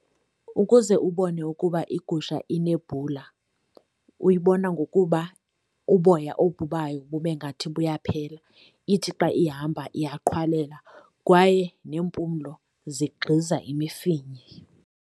Ukuze ubone ukuba igusha inebhula uyibona ngokuba uboya obu bayo bube ngathi buyaphela, ithi xa ihamba iyaqhwalela kwaye nempumlo zigxiza imifinya.